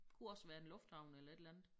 Kunne også være en lufthavn eller et eller andet